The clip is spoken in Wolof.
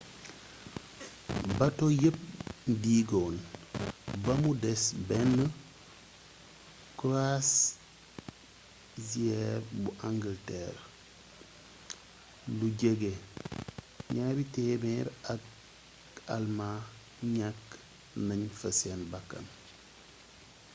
bato yépp diigoon bamu des benn croisiñre bu angalteer lu jege 200 ak almaa ñakk nañ fa seen bakkan